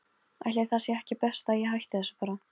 Ætli það sé ekki best að ég hætti þessu bara.